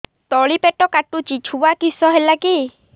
ତଳିପେଟ କାଟୁଚି ଛୁଆ କିଶ ହେଲା କି